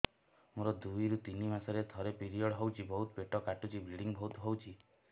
ମୋର ଦୁଇରୁ ତିନି ମାସରେ ଥରେ ପିରିଅଡ଼ ହଉଛି ବହୁତ ପେଟ କାଟୁଛି ବ୍ଲିଡ଼ିଙ୍ଗ ବହୁତ ହଉଛି